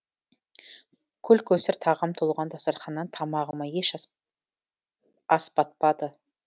көл көсір тағам толған дастарханнан тамағыма еш ас батпады